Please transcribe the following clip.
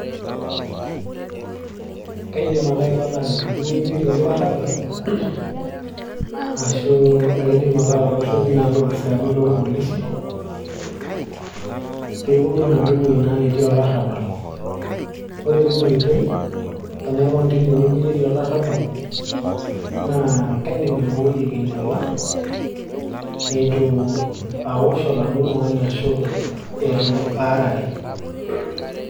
Kaidim ake aipang'a tenaduo wueji netii olarrabal ashu aidim ake atooshoki naa ilopisaani lorpolisi peeponu enaduo wueji naa netii olarrabal ore tina oitoi tenaipang tine wueji netii olarrabal naa kaidim aiboi enkinyiala eitu awosh oladuo tung'ani ashu etu aarare.